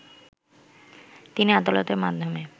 তিনি আদালতের মাধ্যমে